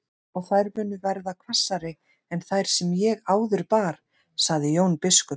Og þær munu verða hvassari en þær sem ég áður bar, sagði Jón biskup.